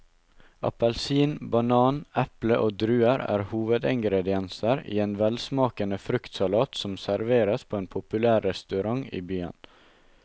Appelsin, banan, eple og druer er hovedingredienser i en velsmakende fruktsalat som serveres på en populær restaurant i byen.